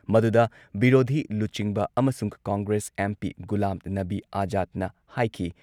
ꯃꯗꯨꯨꯗ ꯕꯤꯔꯣꯙꯤ ꯂꯨꯆꯤꯡꯕ ꯑꯃꯁꯨꯡ ꯀꯪꯒ꯭ꯔꯦꯁ ꯑꯦꯝ.ꯄꯤ. ꯒꯨꯂꯥꯝ ꯅꯕꯤ ꯑꯖꯥꯗꯅ ꯍꯥꯏꯈꯤ